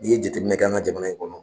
N'i ye jateminɛ kɛ an ka jamana in kɔnɔ